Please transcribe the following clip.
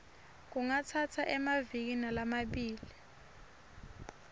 kungatsatsa emaviki lamabili